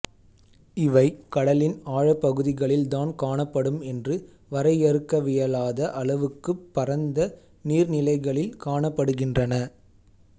இவை கடலின் ஆழப்பகுதிகளில் தான் காணப்படும் என்று வரையறுக்கவியலாத அளவுக்குப் பரந்த நீர்நிலைகளில் காணப்படுகின்றன